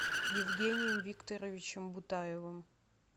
евгением викторовичем бутаевым